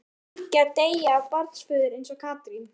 Mundi Bylgja deyja af barnsförum eins og Katrín?